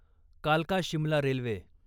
कालका शिमला रेल्वे